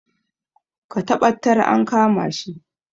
Ka taɓattar an kama shi